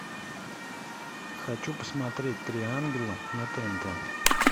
хочу посмотреть три ангела на тнт